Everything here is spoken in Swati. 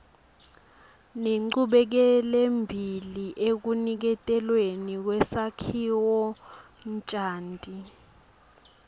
nenchubekelembili ekuniketelweni kwesakhiwonchanti